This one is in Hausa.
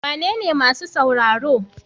Wanene masu sauraro?